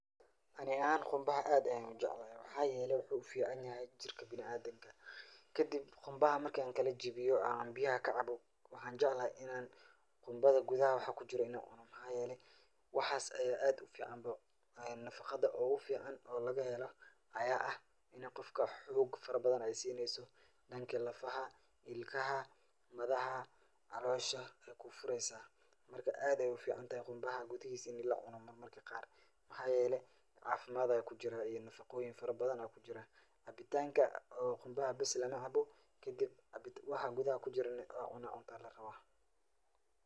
Ani ahaan qunbaha aad ayaan ujeclahay, waxaa yeele wuxuu ufican yahay jirka biniadamka, kadib qunbaha marki aan kala jabiyo aan biyaha kacabo, waxaan jeclahay inaan qunbada gudaha waxa kujiro inaan cuno waxaa yeele, waxaas ayaa aad ufican, Nafaqada oogu fican oo laga helo ayaa ah inuu qofka xoog badan aay siineyso, danka lafaha, ilkaha, madaxa, caloosha ayeey kuu fureysa, marka aad ayeey ufican tahay qunbaha gudahiisa in lacuno marmarka qaar, waxaa yeele cafimaad ayaa kujiraa iyo nafaqoyiin fara badan ayaa kujiraa, cabitaanka oo qunbaha bes lama cabo kadib waxa gudaha kujirana inaad cunto ayaa larabaa.